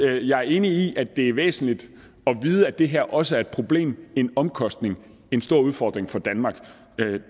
jeg er enig i at det er væsentligt at vide at det her også er et problem en omkostning en stor udfordring for danmark